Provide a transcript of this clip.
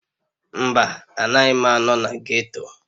Mba, anaghị m anọ na ghetto.